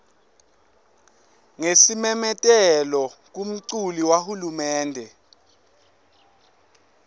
ngesimemetelo kumculu wahulumende